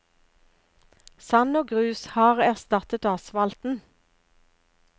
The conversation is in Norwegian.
Sand og grus har erstattet asfalten.